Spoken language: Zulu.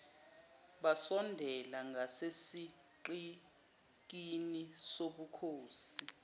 basondela ngasesigqikini sobukhosi